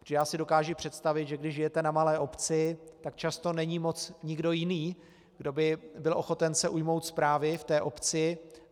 Protože já si dokážu představit, že když žijete na malé obci, tak často není moc nikdo jiný, kdo by byl ochoten se ujmout správy v té obci.